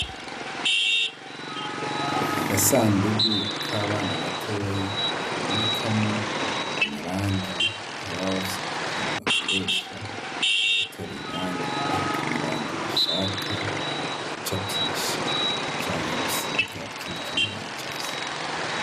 Agasandugu k'abana batoyi babikamo amarangi aho babasupiconi bakoresha ugutora irangi bahitamwo irangi bashaka gucapisha canga gusiga ikindi kino bacafye.